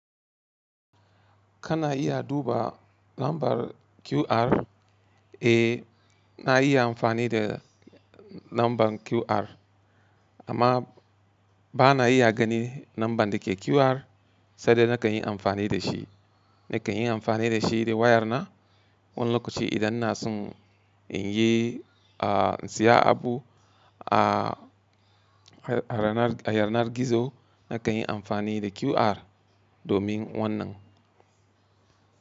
Kana iya duba lambar QR? Eh, na iya amfani da lambar QR amma ba na iya gani lambar da ke QR, sanda na kan yi amfani da shi. Na kan yi amfani da shi da wayarna. Wani lokaci idan na son in yi, a siya abu, a, a yanar gizo na kan yi amfani da QR domin wannan.